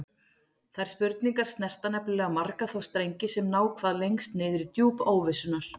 Þær spurningar snerta nefnilega marga þá strengi sem ná hvað lengst niður í djúp óvissunnar.